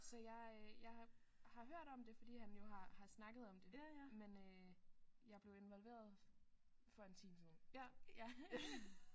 Så jeg øh jeg har hørt om det fordi han jo har har snakket om det men øh jeg blev involveret for en time siden ja ja